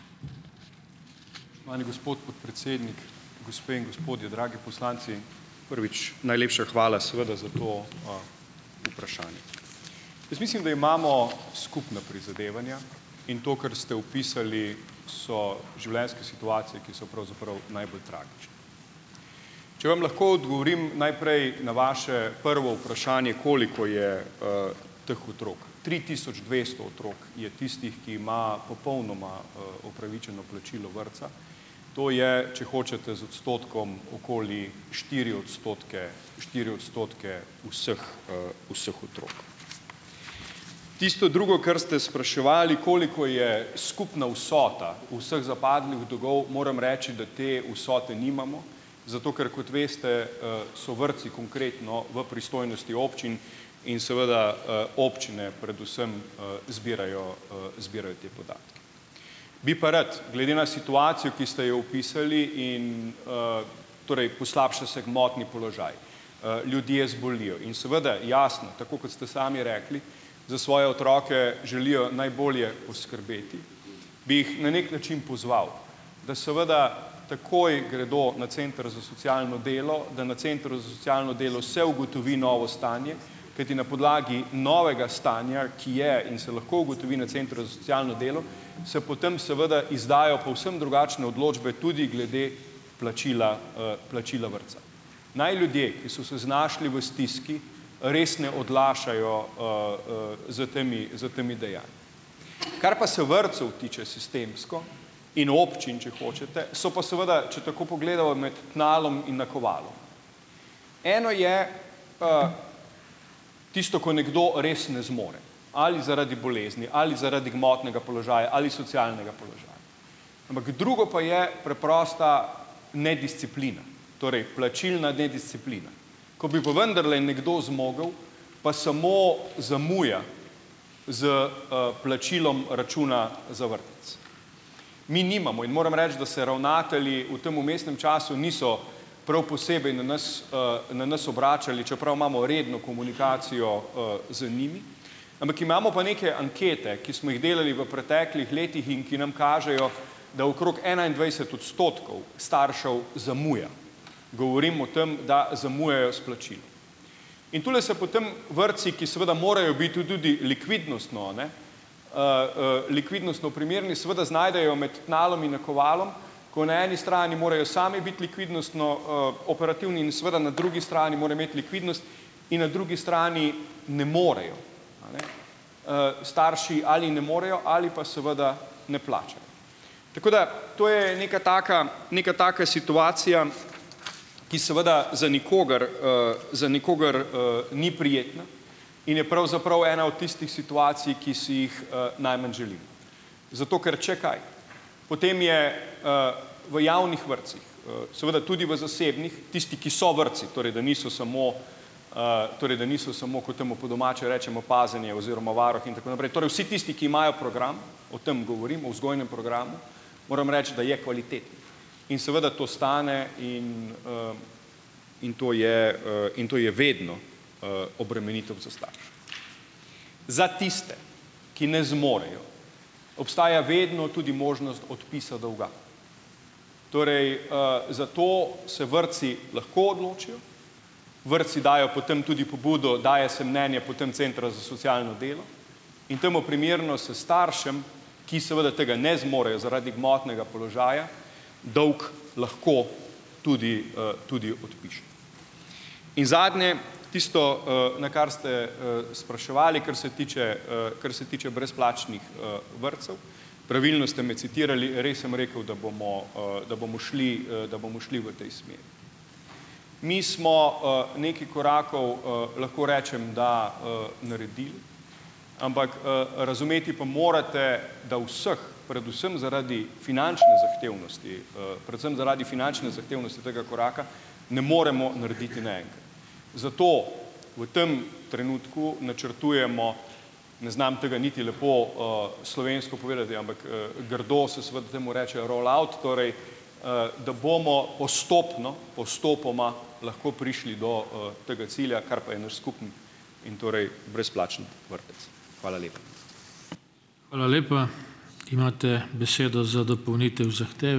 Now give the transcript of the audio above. Spoštovani gospod podpredsednik, gospe in gospodje, dragi poslanci! Prvič najlepša hvala seveda za to, vprašanje. Jaz mislim, da imamo skupna prizadevanja in to, kar ste opisali, so življenjske situacije, ki so pravzaprav najbolj tragične. Če vam lahko odgovorim najprej na vaše prvo vprašanje, koliko je, teh otrok. Tri tisoč dvesto otrok je tistih, ki ima popolnoma, opravičeno plačilo vrtca. To je, če hočete z odstotkom, okoli štiri odstotke štiri odstotke vseh, vseh otrok. Tisto drugo, kar ste spraševali, koliko je skupna vsota vseh zapadlih dolgov, moram reči, da te vsote nimamo zato, ker kot veste, so vrtci konkretno v pristojnosti občin in seveda, občine predvsem, zbirajo, zbirajo te podatke. Bi pa rad glede na situacijo, ki ste jo opisali in, torej poslabša se gmotni položaj. Ljudje zbolijo in seveda, jasno, tako kot ste sami rekli, za svoje otroke želijo najbolje poskrbeti, bi jih na neki način pozval, da seveda takoj gredo na center za socialno delo, da na centru za socialno se ugotovi novo stanje, kajti na podlagi novega stanja, ki je in se lahko ugotovi na centru za socialno delo, se potem seveda izdajo povsem drugačne odločbe tudi glede plačila, plačila vrtca. Naj ljudje, ki so se znašli v stiski, res ne odlašajo, s temi, s temi Kar pa se vrtcev tiče, sistemsko in občin, če hočete, so pa seveda, če tako pogledava, med tnalom in nakovalom. Eno je, tisto, ko nekdo res ne zmore, ali zaradi bolezni ali zaradi gmotnega položaja ali socialnega ampak drugo pa je preprosta nedisciplina. Torej plačilna nedisciplina, ko bi pa vendarle nekdo zmogel, pa samo zamuja s, plačilom računa za vrtec. Mi nimamo in moram reči, da se ravnatelji v tem vmesnem času niso prav posebej na nas, na nas obračali, čeprav imamo redno komunikacijo, z njimi, ampak imamo pa neke ankete, ki smo jih delali v preteklih letih in ki nam kažejo, da okrog enaindvajset odstotkov staršev zamuja. Govorim o tem, da zamujajo s plačilom. In tule se potem vrtci, ki seveda morajo biti tu tudi likvidnostno, a ne, likvidnostno primerni, seveda znajdejo med tnalom in nakovalom, ko na eni strani morajo sami biti likvidnostno, operativni in seveda na drugi strani morajo imeti likvidnost in na drugi strani ne morejo, starši ali ne morejo ali pa seveda ne plačajo. Tako da to je neka taka, neka taka situacija, ki seveda za nikogar, #a,a za nikogar, ni prijetna in je pravzaprav ena od tistih situacij, ki si jih, najmanj želimo. Zato, ker če kaj? Potem je, v javnih vrtcih, seveda tudi v zasebnih, tisti, ki so vrtci, torej da niso samo, torej da niso samo, kot temu po domače rečemo, pazenje oziroma varuh in tako naprej, torej vsi tisti, ki imajo program, o tem govorim, o vzgojnem programu, moram reči, da je kvaliteten, in seveda to stane in, in to, in to je vedno, obremenitev za starše. Za tiste, ki ne zmorejo, obstaja vedno tudi možnost odpisa dolga. Torej, zato se vrtci lahko odločijo, vrtci dajo potem tudi pobudo, daje se mnenje potem centra za socialno delo in temu primerno se staršem, ki seveda tega ne zmorejo zaradi gmotnega položaja, dolg lahko tudi, tudi odpiše. In zadnje, tisto, na kar ste, spraševali, kar se tiče, kar se tiče brezplačnih, vrtcev. Pravilno ste me citirali, res sem rekel, da bomo, da bomo šli, da bomo šli v tej smeri. Mi smo, nekaj korakov, lahko rečem, da, naredili, ampak, razumeti pa morate, da vseh predvsem zaradi finančne zahtevnosti , predvsem zaradi finančne zahtevnosti tega koraka ne moremo narediti naenkrat. Zato v tem trenutku načrtujemo, ne znam tega niti lepo, slovensko povedati, ampak, grdo se seveda temu reče rollout torej, da bomo postopno, postopoma lahko prišli do, tega cilja, kar pa je naš skupni in torej brezplačni vrtec. Hvala lepa.